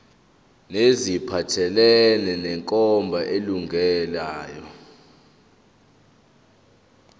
neziphathelene nenkambo elungileyo